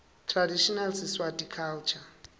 traditional siswati culture